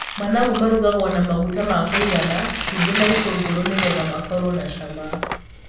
Managu marugagwo na maguta makuigana, cumbi na itũngũrũ nĩgetha makorwo na cama.